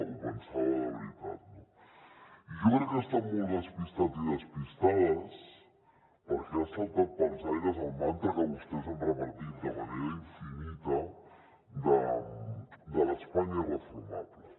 ho pensava de veritat no i jo crec que estan molt despistats i despistades perquè ha saltat pels aires el mantra que vostès han repetit de manera infinita de l’espanya irreformable